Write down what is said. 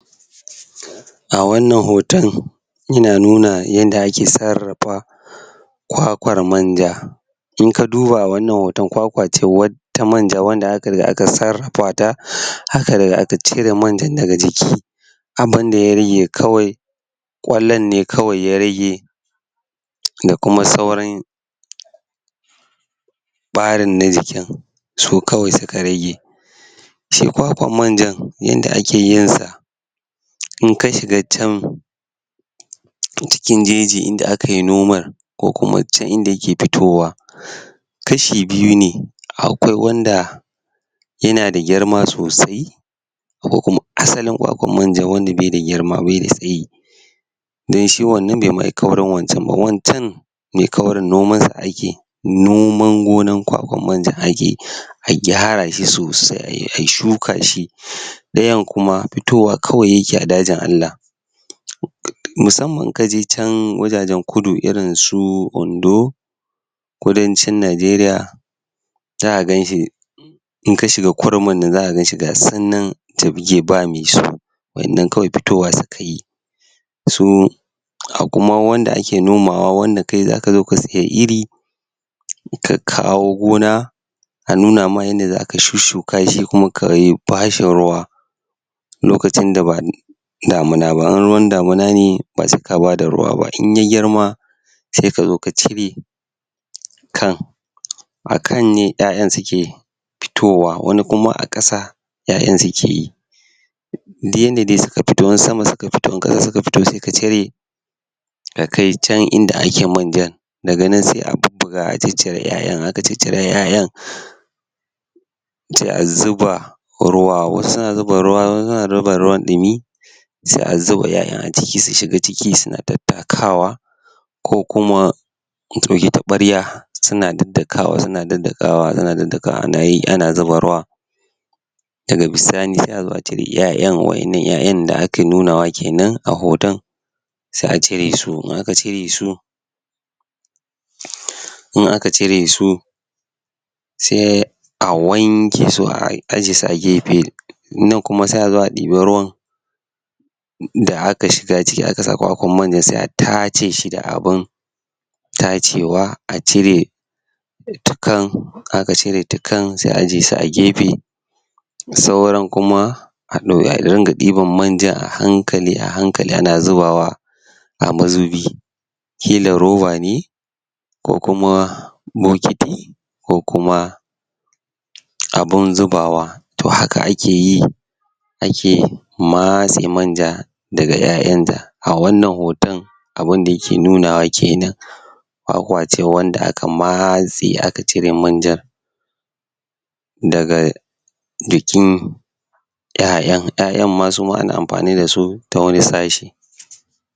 A wannan hoton, yana nuna yanda ake tsarrafa kwakwar manja inka duba wannan hoto, kwakwa ce ta manja wanda aka riga aka tsarrafa ta aka cire manjan daga jiki abun da ya rage kawai kwallwen ne kawai ya rage da kuma sauran barin na jikin su kawai suka rage Shi kwakwan manjan, shi yadda ake yin sa inka shiga can a cikin jejin inda aka yi noman ko kuma can inda yake fitowa kashi biyu ne akwai wanda yana da girma sosai ko kuma asalin kwakwan manja wanda bai da girma, bai da tsayi dan shi wannan kaurin wancan, wancan mai kaurin, noman sa ake noman gonan kwakwan manjan akeyi, a gyara shi sosai, a shuka shi, dayan kuma fitowa kawai yake yi a dajin Allah musamman ka je can dajin kudu, irin su Ondo, kudancin Najeriya za ganshi inga shiga ga su nan ba me su wadannan kawai fitowa suka yi su akuma wanda ake nomawa wanda kai za ka zo ka saya iri, ka kawo gona, a nuna ma inda zaka shushuka shi kuma kayi, bashi ruwa lokacin da ba damina ba, in ruwan damina ne ba sai ka ba da ruwa ba, in ya girma sai ka zo ka cire kan a kan ne iyaiyan suke fitowa, wani kuma a kasa iyaiyan suke yi duk inda dai suka firo suka tare ta kai can inda ake manjan daga nan sai a bubbuga a je cire iyaiyan, aka cicire iyaiyan sai a zuba ruwa, wasu suna zuba ruwa, suna zuba ruwan dumi sai a zuba iyaiyan a ciki su shiga ciki suna tatakawa ko kuma tabarya suna daddakawa, suna daddakawa, suna daddakawa, ana yi ana zuba ruwa daga sai a zo a cire iyaiyan, wadannan iyaiyan da ake nunawa kenan a hoton sai a cire su, in aka cire su in aka cire su sai a wanke su a ajiye su a gefe nan kuma sai a zo a diba ruwan da aka shiga ciki aka sa kwakwan manjan sai a tace shi da abun tacewa a cire tukan, aka cire tukan sai a ajiye shi a gefe sauran kuma a ringa diban manjan a hankali, a hankali ana zubawa a mazubi kila roba ne ko kuma bokiti ko kuma abun zubawa toh haka ake yi ake matse manja daga iyaiyan ta A wannan hoton abun da yake nunawa kenan kwakwa ne wanda aka matse aka cire manjan daga jikin